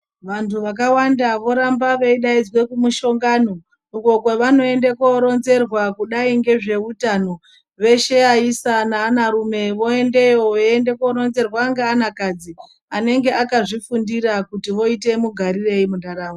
Vantu vakawanda voramba veidaidzwe kumushongano uko kwavanoende korenzerwa kudai ngezveutano veshe vaisa neanavarume voendeyo veiende koronzerwa ngeanakadzi anenge akazvifundira kuti oite mugarireyi munharaunda.